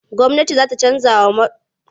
Gwamnati za ta canjawa'yan sanda kalar kayan aikinsu.